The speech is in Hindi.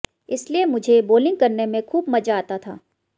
इसलिए मुझे बोलिंग करने में खूब मजा आता था